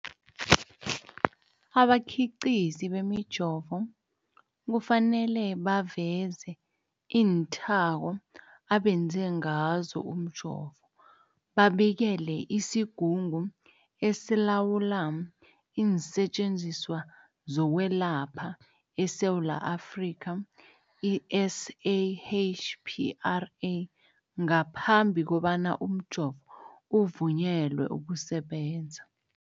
Abakhiqizi bemijovo kufanele baveze iinthako abenze ngazo umjovo, babikele isiGungu esiLawula iinSetjenziswa zokweLapha eSewula Afrika, i-SAHPRA, ngaphambi kobana umjovo uvunyelwe ukusebenza.